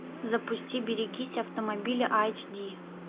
запусти берегись автомобиля айч ди